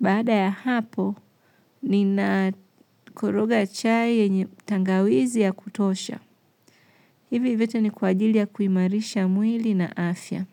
baada ya hapo, ninakoroga chai yenye tangawizi ya kutosha. Hivi vyote ni kwa ajili ya kuimarisha mwili na afya.